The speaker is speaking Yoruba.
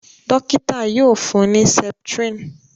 dókítà yíò fún ní septrin